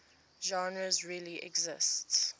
genres really exist